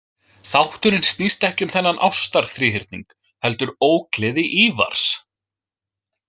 Þátturinn snýst ekki um þennan ástarþríhyrning heldur ógleði Ívars.